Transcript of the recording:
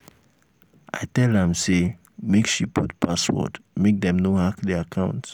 i tell am say make she put password make dem no hack di account.